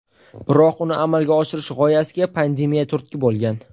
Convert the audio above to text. Biroq uni amalga oshirish g‘oyasiga pandemiya turtki bo‘lgan.